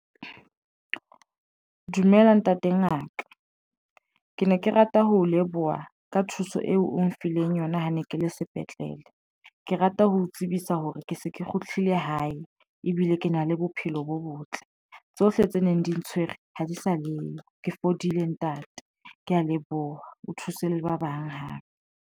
Dumela ntate Ngaka ke ne ke rata ho leboha ka thuso eo o mphileng yona ha ne ke le sepetlele. Ke rata ho tsebisa hore ke se ke kgutlele hae ebile ke na le bophelo bo botle tsohle tse neng di ntshwere ha di sa leyo ke fodile ntate ye ya leboha o thuse le ba bang hape.